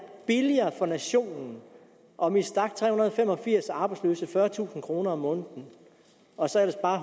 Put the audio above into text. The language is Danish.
billigere for nationen om vi stak tre hundrede og fem og firs arbejdsløse hver fyrretusind kroner om måneden og så ellers bare